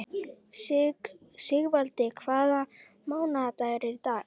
Sigvaldi, hvaða mánaðardagur er í dag?